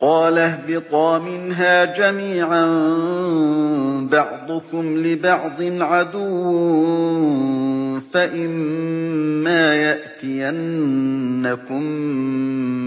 قَالَ اهْبِطَا مِنْهَا جَمِيعًا ۖ بَعْضُكُمْ لِبَعْضٍ عَدُوٌّ ۖ فَإِمَّا يَأْتِيَنَّكُم